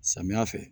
Samiya fɛ